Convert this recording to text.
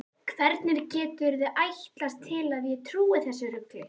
Hvernig geturðu ætlast til að ég trúi þessu rugli?